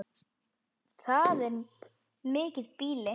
Það er mikið býli.